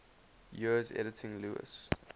years editing lewes's